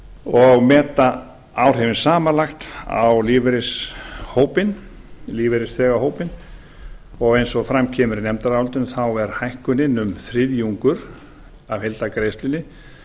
og meta áhrifin samanlagt á lífeyrisþegahópinn og eins og fram kemur í nefndarálitinu er hækkunin um þriðjungur af heildargreiðslunni